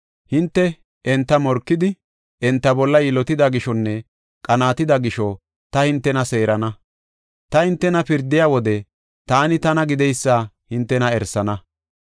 Hinte enta morkidi, enta bolla yilotida gishonne qanaatida gisho ta hintew seerana. Ta hintena pirdiya wode taani tana gideysa hintena erisana.’